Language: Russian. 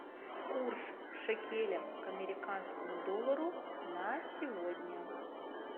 курс шекеля к американскому доллару на сегодня